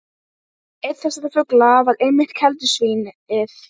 Einn þessara fugla var einmitt keldusvín- ið.